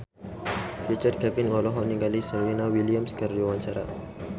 Richard Kevin olohok ningali Serena Williams keur diwawancara